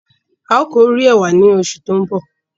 A o kọrè ẹ̀wà ní osù tó nbọ.